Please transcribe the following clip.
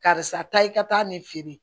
Karisa taa i ka taa nin feere